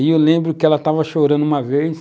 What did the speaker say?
E eu lembro que ela estava chorando uma vez,